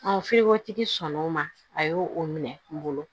sɔn n'o ma a y'o o minɛ n bolo